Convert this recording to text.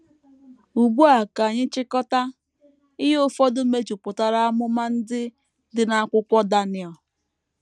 Ugbu a ka anyị chịkọta ihe ụfọdụ mejupụtara amụma ndị dị n’akwụkwọ Daniel.